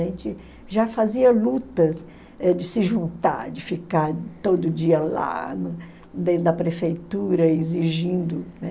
A gente já fazia lutas eh de se juntar, de ficar todo dia lá dentro da prefeitura exigindo, né?